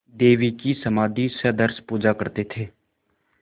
देवी की समाधिसदृश पूजा करते थे